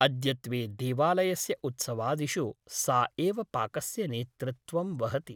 अद्यत्वे देवालयस्य उत्सवादिषु सा एव पाकस्य नेतृत्वं वहति ।